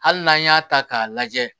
Hali n'an y'a ta k'a lajɛ